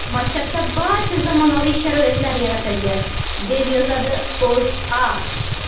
Maktabda barcha zamonaviy sharoitlar yaratilgan, deb yozadi O‘zA.